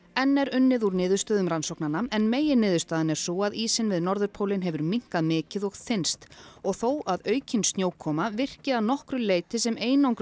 enn er unnið úr niðurstöðum rannsóknanna en meginniðurstaðan er sú að ísinn við norðurpólinn hefur minnkað mikið og þynnst og þó að aukin snjókoma virki að nokkru sem